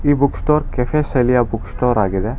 Book store cafe ಶೈಲಿಯ book store ಆಗಿದೆ.